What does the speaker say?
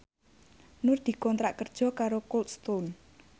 Nur dikontrak kerja karo Cold Stone